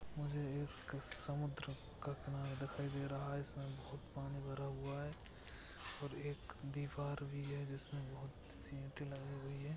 मुझे एक समुद्र का किनारा दिखाई दे रहा है। इसमे बोहोत पानी भरा हुआ है और एक दीवार भी है। जिसमे बहुत सी इटे लगी हुई है।